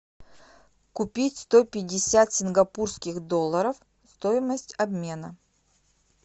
купить сто пятьдесят сингапурских долларов стоимость обмена